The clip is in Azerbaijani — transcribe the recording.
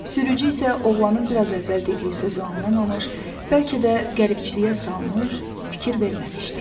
Sürücü isə oğlanın bir az əvvəl dediyi sözü anlamamış, bəlkə də qəribçiliyə salmış, fikir verməmişdi.